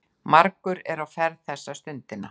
Margir á ferð þessa stundina.